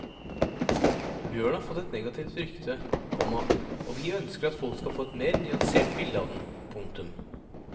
Bjørnen har fått et negativt rykte, komma og vi ønsker at folk skal få et mer nyansert bilde av den. punktum